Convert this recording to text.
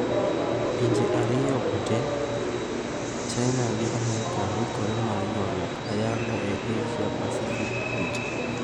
Pinje ariyogo te , China gi amerka yikre mar ywaruok ayanga e Asia-Pacific kucha.